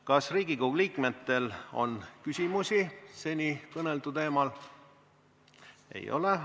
Kas Riigikogu liikmetel on küsimusi seni kõneldu teemal?